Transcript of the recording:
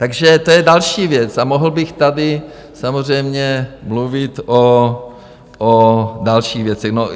Takže to je další věc, a mohl bych tady samozřejmě mluvit o dalších věcech.